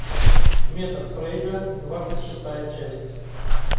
метод фрейда двадцать шестая часть